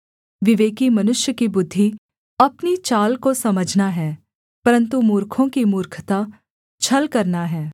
विवेकी मनुष्य की बुद्धि अपनी चाल को समझना है परन्तु मूर्खों की मूर्खता छल करना है